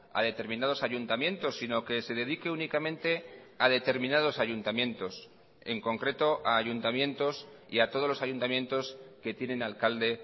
a determinados ayuntamientos sino que se dedique únicamente a determinados ayuntamientos en concreto a ayuntamientos y a todos los ayuntamientos que tienen alcalde